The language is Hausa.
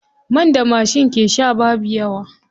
Man da mashi ke sha babu yawa.